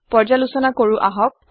পৰ্য্যালোচনা কৰো আহক